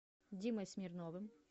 димой смирновым